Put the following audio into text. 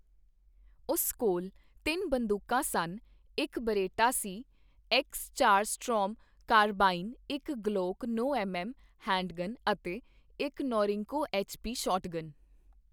ਉਸ ਕੋਲ ਤਿੰਨ ਬੰਦੂਕਾਂ ਸਨ ਇੱਕ ਬੇਰੇਟਾ ਸੀ ਐਕਸ ਚਾਰ ਸਟੋਰਮ ਕਾਰਬਾਈਨ, ਇੱਕ ਗਲੋਕ ਨੌ ਐੱਮ ਐੱਮ ਹੈਂਡਗਨ ਅਤੇ ਇੱਕ ਨੌਰਿੰਕੋ ਐੱਚ.ਪੀ ਸ਼ਾਟਗਨ